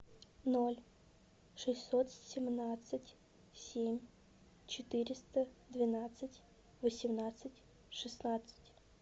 ноль шестьсот семнадцать семь четыреста двенадцать восемнадцать шестнадцать